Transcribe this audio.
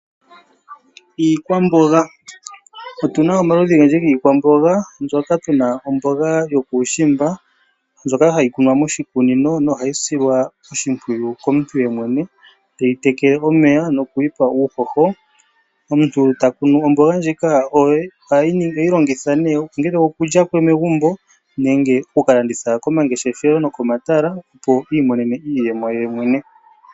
Iikwamboga Otu na omaludhi ogendji giikwamboga mbyoka tu na omboga yokuushimba, ndjoka hayi kunwa moshikunino nohayi silwa oshimpwiyu komuntu yemwene, teyi tekele omeya noku yi pa wo uuhoho. Omuntu ta kunu omboga ndjika oye. Oheyi longitha nee ongele okulya megumbo nenge oku ka landitha komangeshefelo nokomatala, opo i imonene iiyemo ye yemwene.